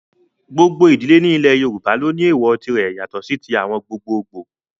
Gbogbo idile ni ilẹ yoruba lo ni ééwọ́ tire yato si awọn ti gbogboogbo